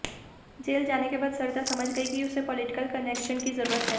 jail जाने के बाद सरिता समझ गई कि उसे पॉलिटिकल कनेक्शन की जरूरत है